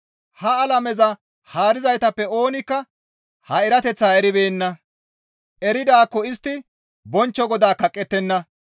Ha alameza haarizaytappe oonikka ha erateththaa eribeenna; eridaakko istti bonchcho Godaa kaqqettenna.